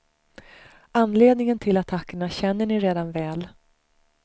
Anledningen till attackerna känner ni redan väl.